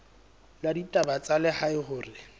la ditaba tsa lehae hore